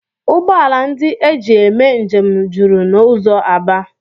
Ụgbọala ndị e ji eme njem juru n'ụzọ Aba